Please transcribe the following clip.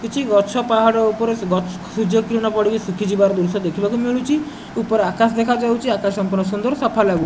କିଛି ଗଛ ପାହାଡ ଉପରେ ସେ ଗଛ ସୂର୍ଯ୍ୟକିରଣ ପଡିକି ଶୁଖି ଯିବାର ଦୃଶ୍ଯ ଦେଖିବାକୁ ମିଳୁଚି ଉପର ଆକାଶ ଦେଖାଯାଉଚି ଆକାଶ ସମ୍ପୂର୍ଣ୍ଣ ସୁନ୍ଦର ସଫା ଲାଗୁ --